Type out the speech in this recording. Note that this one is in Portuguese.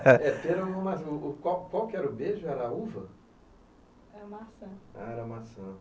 É pera ou maça, o o qual qual era o beijo, era a uva? era a maçã. Ah, era maçã.